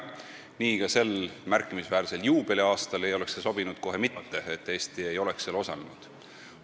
Praegusel märkimisväärsel juubeliaastal ei oleks kohe mitte sobinud, kui Eesti ei oleks seal osalenud.